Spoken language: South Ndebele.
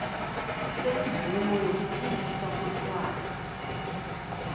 semvumo yokuthengisa utjwala